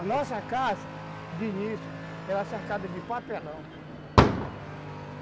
A nossa casa, de início, era cercada de papelão.